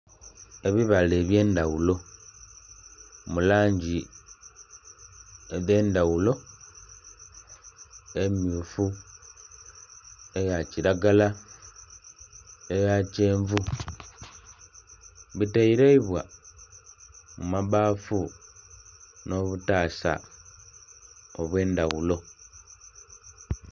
Ebibala eby'endaghulo mu langi edh'endhaghulo, emmyufu, eya kilagala, eya kyenvu. Biteleibwa mu mabbaafu nh'obutaasa obw'endhaghulo.